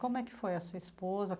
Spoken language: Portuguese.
Como é que foi a sua esposa?